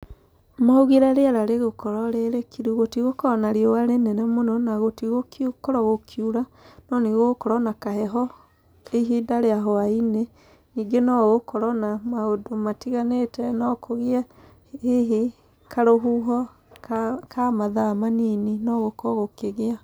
Maugire rĩera rĩgũkorwo rĩ rĩkiru. Gũtigũkorwo na riũa rĩnene mũno, na gũtigũkorwo gũkiura, no nĩ gũgũkorwo na kaheho ihinda rĩa hwainĩ. Ningĩ no gũgũkorwo na maũndũ matiganĩte, no kũgĩe hihi karũhuho ka ka mathaa manini no gũkorwo gũkĩgĩa.